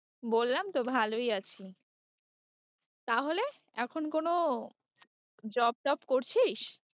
বললাম তো ভালোই আছি তাহলে এখন কোনো job টব করছিস?